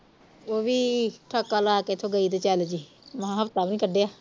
ਉਵੀ ਠਾਕਾ ਲਾ ਕੇ ਇਥੋਂ ਗਈ ਤੇ ਚੱਲ ਜੀ ਮੈਂ ਹਫਤਾ ਵੀ ਨੀ ਕੱਢਿਆ